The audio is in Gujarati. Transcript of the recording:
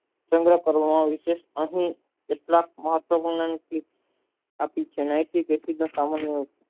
સંગ કરુણવિસે અહીં કેટલાક મહત્વ આપી છે નૈસીક એસિડ ના સામાન્ય